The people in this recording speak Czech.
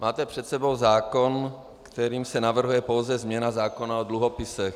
Máte před sebou zákon, kterým se navrhuje pouze změna zákona o dluhopisech.